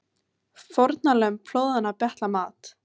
Fórnarlömb flóðanna betla mat